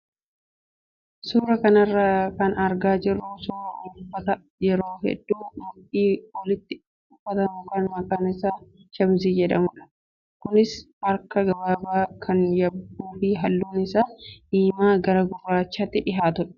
Suuraa kana irraa kan argaa jirru suuraa uffata yeroo hedduu mudhii olitti uffatamu kan maqaan isaa shaamizii jedhamudha. Kunis harka gabaabaa kan qabuu fi halluun isaa diimaa gara gurraachaatti dhiyaatudha.